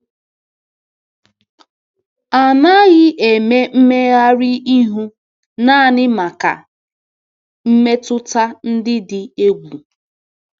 A naghị eme mmegharị ihu nanị maka mmetụta dị dị egwu.